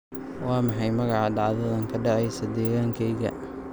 Waa maxay magaca dhacdadan ka dhacaysa deegaankayga?